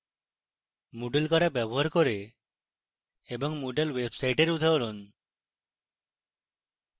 moodle কারা ব্যবহার করে এবং moodle websites উদাহরণ